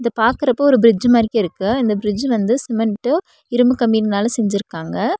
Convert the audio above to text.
இது பாக்குறப்போ ஒரு பிரிட்ஜ் மாரிக்ருக்கு இந்த பிரிட்ஜ் வந்து சிமெண்ட்டு இரும்பு கம்பிங்களால செஞ்சுருக்காங்க.